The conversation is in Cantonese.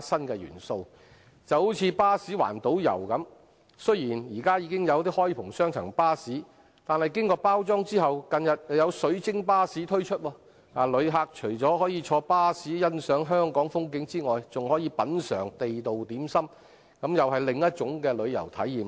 舉例而言，就如巴士環島遊，雖然現時已有開篷雙層巴士，但經過包裝後，近日便有"水晶巴士"推出，旅客除可坐在巴士欣賞香港的風景外，還可品嘗地道點心，這又是另一種旅遊體驗。